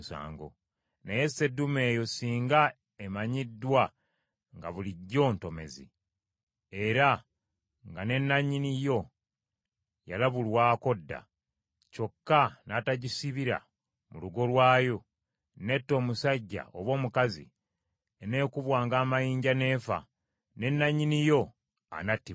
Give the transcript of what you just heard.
Naye seddume eyo singa emanyiddwa nga bulijjo ntomezi, era nga ne nannyini yo yalabulwako dda, kyokka n’atagisibira mu lugo lwayo, n’etta omusajja oba omukazi, eneekubwanga amayinja n’efa, ne nannyini yo anattibwanga.